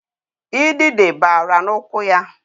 Idide bara n'ụkwụ ya